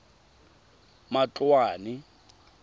matloane